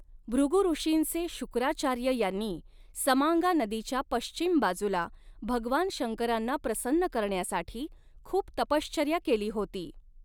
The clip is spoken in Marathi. भृगु ॠषींचे शुक्राचार्य यांनी समांगा नदीच्या पश्चिम बाजूला भगवान शंकरांना प्रसन्न करण्यासाठी खूप तपश्चर्या केली होती.